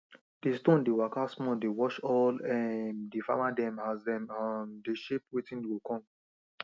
de stone dey waka small dey watch all um di farmer dem as dem um dey shape wetin go come